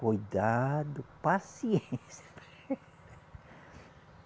Cuidado, paciência.